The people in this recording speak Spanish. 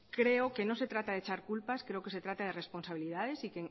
creo que no se trata de echar culpas creo que se trata de responsabilidades y